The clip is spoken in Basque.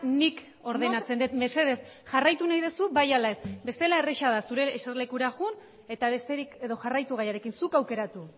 nik ordenatzen dut mesedez jarraitu nahi duzu bai ala ez bestela erraza da zure jesarlekura joan eta besterik edo jarraitu gaiarekin zuk aukeratu